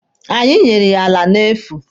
Anyị nyere ya ala n'efu.